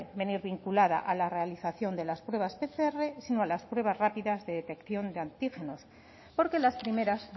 venir vinculada a la realización de las pruebas pcr sino a las pruebas rápidas de detección de antígenos porque las primeras